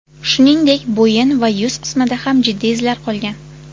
Shuningdek, bo‘yin va yuz qismida ham jiddiy izlar qolgan.